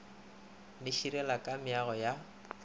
le širela ka meago ya